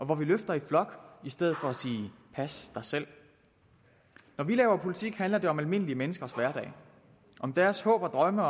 hvor vi løfter i flok i stedet for at sige pas dig selv når vi laver politik handler det om almindelige menneskers hverdag om deres håb og drømme